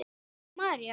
Eva og María.